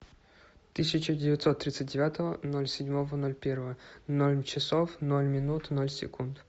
тысяча девятьсот тридцать девятого ноль седьмого ноль первого ноль часов ноль минут ноль секунд